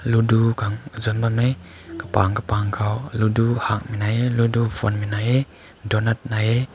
ludu tüng zaun bam hae kabamg kabamg kao ludu hang mai hae ludu mphwanmei mai hae donut mai hae.